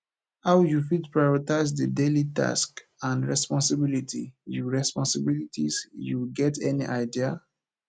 how you fit prioritize di daily tasks and responsibilities you responsibilities you get any idea